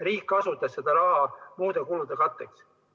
Riik kasutas seda raha muude kulude katteks.